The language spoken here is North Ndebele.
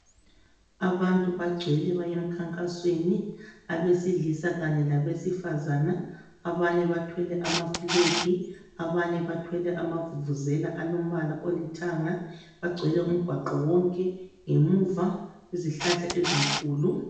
Abantu bagcwele bayemkhankasweni. Abesilisa kanye labesifazana. Abanye bathwele amaflegi, abanye bathwele amavuvuzela alombala olithanga. Bagcwele umgwaqo wonke. Ngemuva izihlahla ezinkulu ...